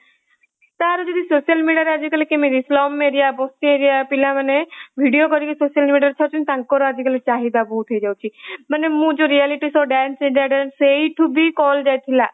ତାର ବି ଯଦି social media ରେ ଆଜିକାଲି shumଏରିୟା ବସ୍ତି ଏରିୟା ପିଲାମାନେ video କରିକି social media ରେ ଛାଡୁଛନ୍ତି ତାଙ୍କର ଆଜିକାଲି ଚାହିଦା ବହୁତ ହେଇ ଯାଇଛି। ମାନେ ମୁଁ ଯୋଉ reality show dance india dance ସେଇଠୁ ବି call ଯାଇଥିଲା